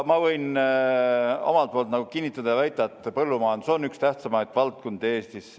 Ma võin omalt poolt kinnitada ja väita, et põllumajandus on üks tähtsamaid valdkondi Eestis.